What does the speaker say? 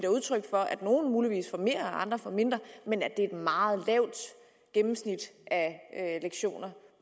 udtryk for at nogle muligvis får mere og andre får mindre men at det er et meget lavt gennemsnit af lektioner